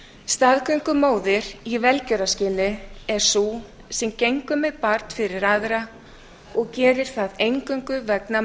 staðgöngumóðir í velgjörðarskyni er sú sem gengur með barn fyrir aðra og gerir það eingöngu vegna